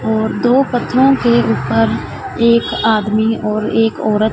और दो पत्थरों के ऊपर एक आदमी और एक औरत --